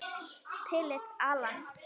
Philip, Allan.